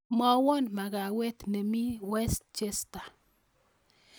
Mwawan magawet nemi west chester